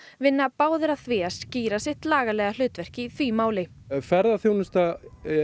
vinna báðir að því að skýra sitt lagalega hlutverk í því máli ferðaþjónusta